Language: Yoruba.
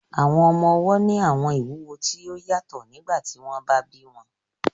Àwọn ọmọde ni àwọn ìwuwo ti o yatọ nigbati wọn ba bi wọn